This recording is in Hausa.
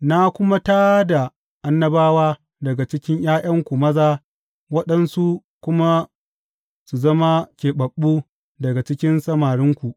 Na kuma tā da annabawa daga cikin ’ya’yanku maza waɗansu kuma su zama keɓaɓɓu daga cikin samarinku.